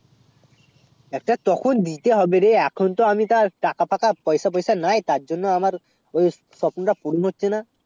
একটা তখন দিতে হবে রে এখন তো আমি তার টাকা ফাঁকা পয়সা ফিস নাই তার জন্য আমার ঐই স্বপ্ন তা পুরো হচ্ছে না